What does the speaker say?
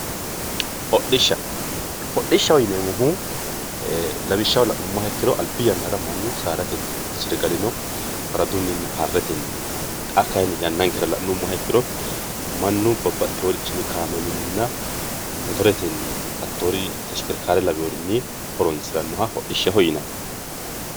Hodhishsha, hodhishshaho yineemmohu lawishshaho la'nuummoro albi yannara mannu saadatenni hodhisire galino faradunna harretenni xa kayinni yannankera la'nuummoro mannu babbaxxeworichini kaameelunna motoretenni hattori teshikerikare lawinorinni horonsiranoha hodhishshaho yineemmo.